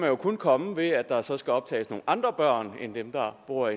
jo kun komme ved at der så skal optages nogle andre børn end dem der bor